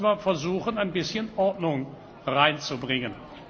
Deshalb muss man versuchen, ein bisschen Ordnung reinzubringen.